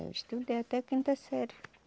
Eu estudei até quinta série.